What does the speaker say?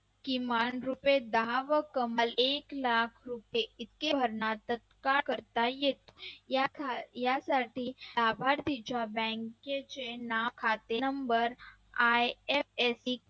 किमान दहा रुपये दहा व कमान एक लाख येथे भरणार तक का करता येईल यासाठी लाभार्थीच्या bank चे खाते Number IFSC